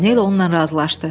Paqanel onunla razılaşdı.